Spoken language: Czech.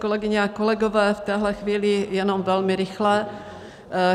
Kolegyně a kolegové, v téhle chvíli jenom velmi rychle.